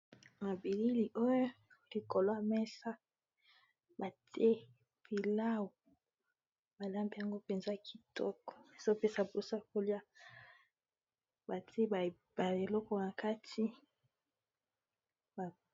Nabilili oyo likolwa mesa bate pilau balambi yango mpenza kitoko ezopesa mpusa kolia bate eloko na kati